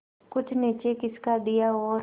कुछ नीचे खिसका लिया और